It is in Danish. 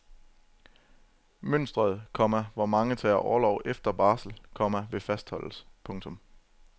Mønstret, komma hvor mange tager orlov efter barsel, komma vil fastholdes. punktum